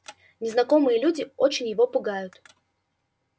незнакомые люди очень его пугают